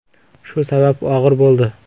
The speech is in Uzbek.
Shu sabab og‘ir bo‘ldi.